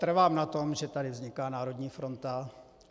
Trvám na tom, že tady vzniká národní fronta.